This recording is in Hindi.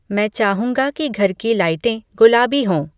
मैं चाहूँगा कि घर की लाइटें गुलाबी हों